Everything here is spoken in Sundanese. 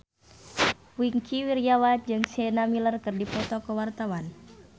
Wingky Wiryawan jeung Sienna Miller keur dipoto ku wartawan